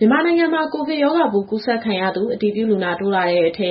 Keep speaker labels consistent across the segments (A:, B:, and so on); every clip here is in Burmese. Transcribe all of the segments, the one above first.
A: မြန်မာနိုင်ငံမှာ ကိုဗစ်ရောဂါပိုးကူးစက်ခံရသူ အတည်ပြုလူနာတိုးလာတဲ့အထဲ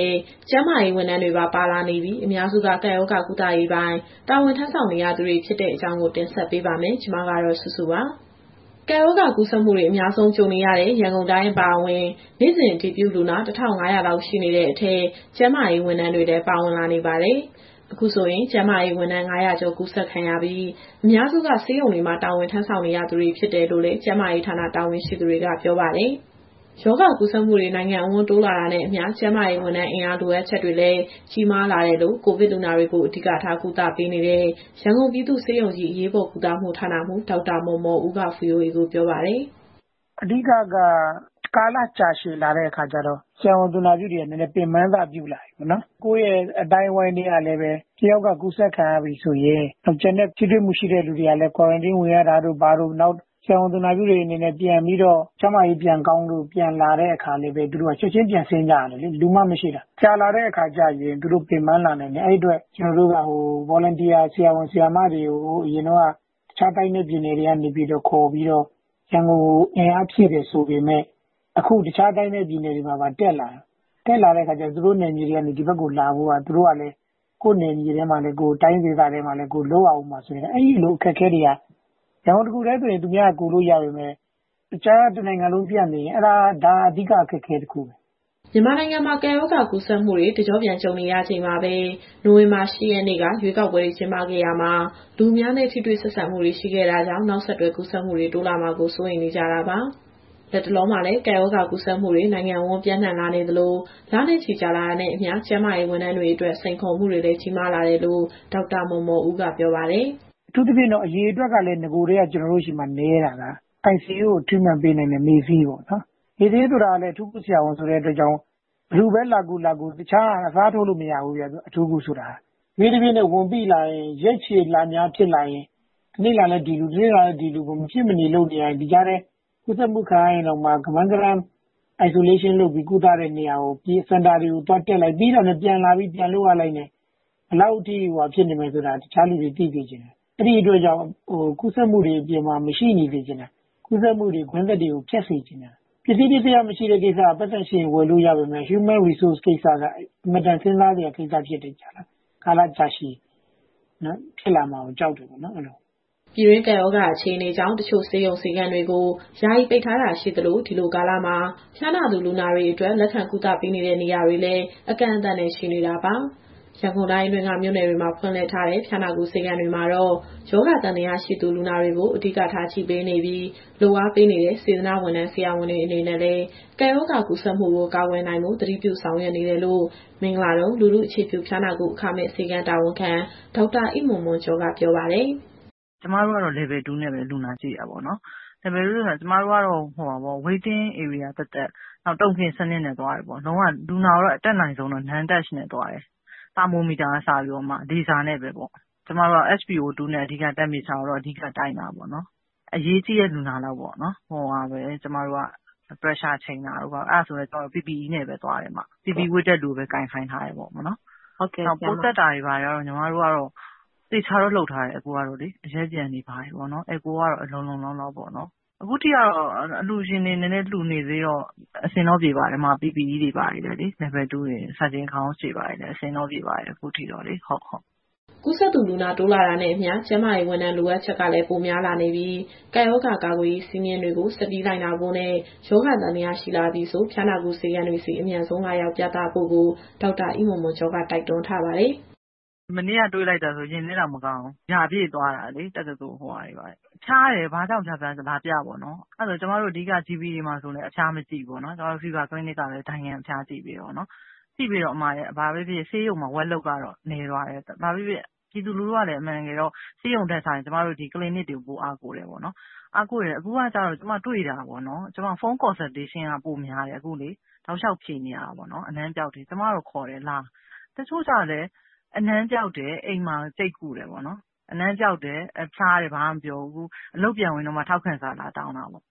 A: ကျန်းမာရေးဝန်ထမ်းတွေပါ ပါလာနေပြီး၊ အများစုက ကပ်ရောဂါကုသရေးပိုင်း တာဝန်ထမ်းဆောင်နေသူတွေဖြစ်တဲ့အကြောင်းကို ဗွီအိုအေမြန်မာပိုင်း သတင်းထောက် မစုစုက တင်ဆက်ပေးပါမယ်။ ကပ်ရောဂါ ကူးစက်မှုတွေ အများဆုံး ကြုံနေရတဲ့ ရန်ကုန်တိုင်း အပါအဝင် နေ့စဉ် အတည်ပြုလူနာ ၁,၅၀၀ လောက် ရှိနေတဲ့အထဲ ကျန်းမာရေး ဝန်ထမ်းတွေလည်း ပါဝင်လာနေပါတယ်။ အခုဆိုရင် ကျန်းမာရေးဝန်ထမ်း ၅၀၀ ကျော်ကူးစက်ခံရပြီး၊ အများစုက ဆေးရုံတွေမှာ တာဝန်ယူဆောင်ရွက်နေသူတွေဖြစ်တယ်လို့လည်း ကျန်းမာရေးဌာန တာဝန်ရှိသူတွေက ပြောပါတယ်။ ရောဂါကူးစက်မှုတွေ နိုင်ငံအဝန်း တိုးလာနေတာနဲ့အမျှ ကျန်းမာရေးဝန်ထမ်း အင်အား လိုအပ်ချက်တွေလည်း ကြီးမားလာတယ်လို့ ကိုဗစ်လူနာတွေကို အဓိကထား ကုသပေးနေတဲ့ ရန်ကုန်ပြည်သူ့ဆေးရုံကြီး အရေးပေါ်ကုသမှုဌာနမှူး ဒေါက်တာမော်မော်ဦးက VOA ကိုပြောပါတယ်။ "အဓိကက
B: ကာလကြာရှည်လာတဲ့အခါကျတော့ ဆရာဝန်၊ သူနာပြုတွေက နည်းနည်းပင်ပန်းစပြုလာပြီ။ ကိုယ့်ရဲ့အသိုင်းအဝန်းထဲက တယောက်က ကူးစက်ခံရပြီဆိုရင် ကျန်တဲ့ထိတွေ့မှု ရှိသူတွေကလည်း Quarantine ဝင်ရတာတို့ ဘာတို့၊ နောက် ကူးစက်ခံခဲ့ရတဲ့သူတွေ ကျန်းမာရေးပြန်ကောင်းလာပြီဆိုရင် ချက်ချင်းပြန်ဆင်းကြရတယ်လေ... လူမှမရှိတာ။ ကြာလာတဲ့အခါကျရင် သူတို့ ပင်ပန်းလာနိုင်တယ်။ အဲဒီအတွက် ကျနော်တို့က Volunteer ဆရာဝန်၊ ဆရာမတွေကို အရင်တုန်းက တခြားတိုင်းနဲ့ ပြည်နယ်တွေကနေ ခေါ်ပြီးတော့ ရန်ကုန်ကို အင်အားဖြည့်တယ်ဆိုပေမဲ့ အခုတခြားတိုင်းနဲ့ ပြည်နယ်တွေမှာပါ တက်လာတဲ့အခါကျတော့ သူတို့နယ်မြေတွေကနေ ဒီဘက်ကိုလာဖို့ကလည်း ကိုယ့်တိုင်းဒေသတွေမှာလည်း လုပ်ရဦးမှာဆိုတော့ အဲဒီလိုအခက်အခဲတွေက ရန်ကုန်တခုတည်းဆို သူများကကူလို့ ရနေပေမဲ့ တနိုင်ငံလုံးပြန့်နေရင် အဲဒါက အဓိကအခက်အခဲ တခုပဲ။
A: " မြန်မာနိုင်ငံမှာ ကပ်ရောဂါကူးစက်မှုတွေ တကျော့ပြန်ကြုံနေရချိန်မှာပဲ နိုဝင်ဘာလ ၈ ရက်နေ့က ရွေးကောက်ပွဲတွေ ကျင်းပခဲ့ရာမှာ လူအများနဲ့ ထိတွေ့ဆက်ဆံမှုတွေ ရှိခဲ့တာကြောင့် နောက်ဆက်တွဲ ကူးစက်မှုတွေ တိုးလာမှာကိုလည်း စိုးရိမ်နေကြတာပါ။ လတ်တလောမှာလည်း ကပ်ရောဂါကူးစက်မှုတွေ နိုင်ငံအဝန်း ပျံ့နှံ့လာနေသလို လနဲ့ချီကြာလာတာနဲ့အမျှ ကျန်းမာရေး ဝန်ထမ်းတွေအတွက် စိန်ခေါ်မှုတွေလည်း ကြီးမားလာတယ်လို့ ဒေါက်တာမော်မော်ဦးက ပြောပါတယ်။ "အထူးသဖြင့်
B: က ကျနော်တို့ဆီမှာ နဂိုကတည်းက ICU ထဲမှာ Treatment ပေးနိုင်တဲ့ မေ့ဆေးပေါ့။ မေ့ဆေးဆိုတာလည်း အထူးကုဆရာဝန်ဆိုတဲ့အတွက်ကြောင့် ဘယ်သူပဲလာကူ၊ လာကူ တခြားက အစားထိုးလို့မရဘူးဗျ၊ အထူးကုဆိုတာ။ တဖြည်းဖြည်းနဲ့ ဝန်ပိလာရင် ရက်ရှည်လများဖြစ်လာရင် တနေ့လာလည်း ဒီလူ၊ တနေ့လာလည်း ဒီလူ မဖြစ်မနေလုပ်နေရတယ်။ ဒီကြားထဲ ကူးစက်မှု ခံရရင်တောင်မှ ကမန်းကတန်း Isolation လုပ် ကုသလို့ရတဲ့နေရာတွေပြေး၊ စင်တာတွေတက်လိုက်၊ ပြီးတာနဲ့ ပြန်လာပြီးပြန်လုပ်ရတဲ့အတွက် ဘယ်လောက်ထိခက်ခဲနေမယ်ဆိုတာ တခြားသူတွေ သိစေချင်တယ်။ အဲဒီအတွက်ကြောင့် ကူးစက်မှုတွေ အပြင်မှာ မရှိနေစေချင်တာ။ ကူးစက်မှုကွင်းဆက်တွေကို ဖြတ်စေချင်တာ။ ပစ္စည်းပစ္စယမရှိတဲ့ကိစ္စက ပိုက်ဆံရှိရင် ဝယ်လို့ရပေမဲ့ Human Resource ကိစ္စက အင်မတန် စဉ်းစားစရာကိစ္စဖြစ်တယ်။ ကာလကြာရှည်ဖြစ်လာမှာကို ကြောက်တယ်ပေါ့။"
A: ပြည်တွင်းကပ်ရောဂါအခြေအနေကြောင့် တချို့ဆေးရုံ၊ ဆေးခန်းတွေကို ယာယီပိတ်ထားတာရှိသလို၊ ဒီလိုကာလမှာ ဖျားနာသူလူနာတွေအတွက် လက်ခံကုသပေးတဲ့နေရာတွေလည်း အကန့်အသတ်နဲ့ ရှိနေတာပါ။ ရန်ကုန်တိုင်းအတွင်းက မြို့နယ်တွေမှာ ဖွင့်လှစ်ထားတဲ့ ဖျားနာကုဆေးခန်းတွေမှာတော့ ရောဂါသံသယရှိသူ လူနာတွေကို အဓိကထားကြည့်ပေးနေပြီး၊ လုပ်အားပေးနေတဲ့ စေတနာ့ဝန်ထမ်း၊ ဆရာဝန်တွေအနေနဲ့လည်း ကပ်ရောဂါကူးစက်မှုကို ကာကွယ်နိုင်ဖို့ သတိပြုဆောင်ရွက်နေတယ်လို့ မင်္ဂလာဒုံ၊ လူထုအခြေပြုဖျားနာကု အခမဲ့ဆေးခန်းတာဝန်ခံ ဒေါက်တာအိမွန်မွန်ကျော်က ပြောပါတယ်။ "ကျမတို့ကတော့ Level 2 နဲ့ပဲ လူနာကြည့်တာပေါ့နော်။ Level 2 နဲ့ဆိုတာက ကျမတို့ကတော့ Waiting
C: Area သတ်သတ်၊ နောက် Token စနစ်နဲ့သွားတယ်ပေါ့။ လုံးဝ လူနာကိုအတတ်နိုင်ဆုံးကတော့ Non Touch နဲ့သွားတယ်။ သာမိုမီတာကအစ လေဆာနဲ့ပဲပေါ့။ ကျမတို့က SPO 2 နဲ့ Temperature ကိုတော့ အဓိကတိုင်းတာပေါ့နော်။ အရေးကြီးတဲ့လူနာလောက်ကိုပဲ Temperature ချိန်တာတို့ ဘာတို့ အဲဒါဆိုရင်လည်း ကျမတို့က PPE ဝတ်တဲ့သူကိုပဲ ကိုင်ခိုင်းထားတယ်ပေါ့နော်။ နောက် ပိုးသတ်တာတွေဘာတွေကတော့ သေချာတော့လုပ်ထားတယ်။ အရက်ပျံတွေကတော့ လုံလုံလောက်လောက်ပေါ့နော်။ အခုထိကတော့ အလှူရှင်တွေ နည်းနည်းလှူနေသေးတော့ အဆင်တော့ပြေပါတယ်။ PPE Level 2 တွေ၊ Surgeon Gown တွေဘာတွေနဲ့ အဆင်တော့ပြေပါတယ်၊ အခုထိတော့လေ။"
A: ကူးစက်သူ လူနာတိုးလာတာနဲ့အမျှ ကျန်းမာရေးဝန်ထမ်း လိုအပ်ချက်ကလည်း ပိုများလာနေပြီး၊ ကပ်ရောဂါကာကွယ်ရေး စည်းမျဉ်းတွေကို ဆက်ပြီး လိုက်နာဖို့နဲ့ ရောဂါသံသယရှိလာပြီဆို ဖျားနာကုဆေးခန်းတွေဆီ အမြန်ဆုံးလာရောက်ပြသဖို့ကို ဒေါက်တာအိမွန်မွန်ကျော်က တိုက်တွန်းထားပါတယ်။
C: "မနေ့က တွေ့လိုက်တာဆို ရင်ထဲတောင်မကောင်းဘူး။ တက္ကသိုလ်ရာပြည့်သွားတာတွေလေ။ ဖျားတယ်ဆို ဘာကြောင့်ဖျားဖျား လာပြပေါ့နော်၊ GP တွေဘာတွေလည်း အဖျားမကြည့်ဘူးလေ။ ကျမတို့ Fever Clinic ကပဲ ဒိုင်ခံအဖျားကြည့်ပေးနေတာပေါ့။ ကြည့်ပေးတော့ ဘာပဲဖြစ်ဖြစ် ဆေးရုံတွေမှာ Workload ကတော့ နည်းသွားတယ်။ ပြည်သူလူထုကလည်း အမှန်တကယ်တော့ ဆေးရုံတွေ ထက်စာရင် ဒီ Clinic တွေကို ပိုအားကိုးတယ်ပေါ့နော်။ အားကိုးတယ်ဆိုတာ ကျမအခုတွေ့နေရတာပေါ့နော်။ Phone Consultation က ပိုများတယ်၊ အနံ့ပျောက်တွေ တောက်လျှောက်ဖြေနေရတာပေါ့နော်။ ကျမကတော့ လာဖို့ခေါ်တယ်။ တချို့ကျတော့လည်း အနံ့ပျောက်တယ်။ အိမ်မှာ ကျိတ်ကုတယ်ပေါ့နော်။ အနံ့ပျောက် ဖျားနာတယ်... ဘာမှမပြောဘူး။ အလုပ်ပြန်ဝင်တော့မှ ထောက်ခံစာ လာတောင်းတာပေါ့။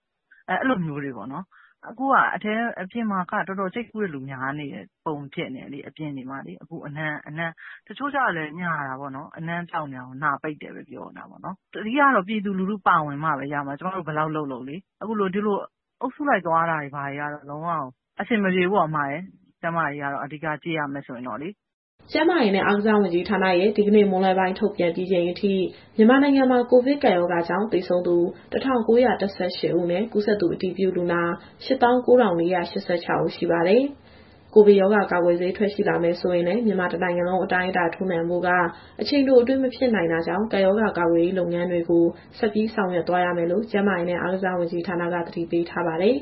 C: အခုဟာက အပြင်မှာက ကျိတ်ကုတဲ့သူတော်တော်များနေတဲ့ပုံ ဖြစ်နေတယ်။ တချို့ကျတော့လည်း အနံ့ပျောက်တာကို နှာပိတ်တယ်ဆိုပြီး ညာတယ်။ အဓိကတော့ ပြည်သူလူထုပါဝင်မှပဲ ရမယ်။ ကျမတို့ဘယ်လောက်လုပ်လုပ်လေ။ ဒီလို အုပ်စုလိုက် သွားလာနေတာတွေက လုံးဝကို အဆင်မပြေဘူး။ ကျန်းမာရေးအရ အဓိကကြည့်မရမယ်ဆိုရင်
A: ။" ကျန်းမာရေးနဲ့ အားကစားဝန်ကြီးဌာနရဲ့ ဒီကနေ့မွန်းလွဲပိုင်း ထုတ်ပြန်ပြီးချိန်အထိ မြန်မာနိုင်ငံမှာ ကိုဗစ်ကပ်ရောဂါကြောင့် သေဆုံးသူ ၁,၉၁၈ ဦးနဲ့ ကူးစက်သူအတည်ပြုလူနာ ၈၉,၄၈၆ ဦးရှိပါတယ်။ ကိုဗစ်ရောဂါကာကွယ်ဆေး ထွက်ရှိလာမယ်ဆိုရင်လည်း မြန်မာတနိုင်ငံလုံးအတိုင်းအတာ ထိုးနှံဖို့က အချိန်တိုအတွင်းမဖြစ်နိုင်တာကြောင့် ကပ်ရောဂါကာကွယ်ရေးလုပ်ငန်းတွေကို ဆက်ပြီးဆောင်ရွက်သွားရမယ်လို့ ကျန်းမာရေးနဲ့အားကစားဝန်ကြီးက အသိပေးထားပါတယ်။